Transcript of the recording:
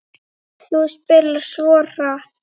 Þú spilar svo hratt.